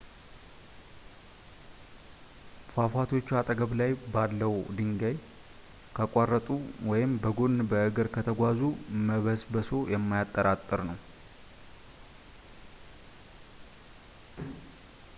ፏፏቴዎቹ አጠገብ ባለው ድልድይ ካቋረጡ ወይም በጎን በእግር ከተጓዙ መበስበሶ የማያጠራጥር ነው